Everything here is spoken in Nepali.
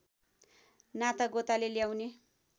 नातागोताले ल्याउने